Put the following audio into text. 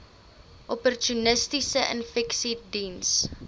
opportunistiese infeksies diens